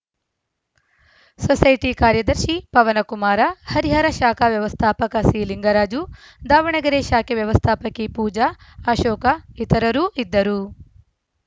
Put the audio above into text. society ಕಾರ್ಯದರ್ಶಿ ಪವನಕುಮಾರ ಹರಿಹರ ಶಾಖಾ ವ್ಯವಸ್ಥಾಪಕ ಸಿಲಿಂಗರಾಜು ದಾವಣಗೆರೆ ಶಾಖೆ ವ್ಯವಸ್ಥಾಪಕಿ ಪೂಜಾ ಅಶೋಕ ಇತರರು ಇದ್ದರು